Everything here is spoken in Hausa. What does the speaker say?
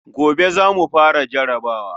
Gobe za mu fara jarabawa.